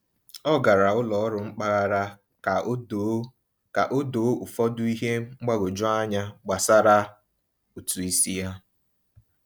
Ọ gara ụlọ ọrụ mpaghara ka o doo ka o doo ụfọdụ ihe mgbagwoju anya gbasara ụtụ isi ya.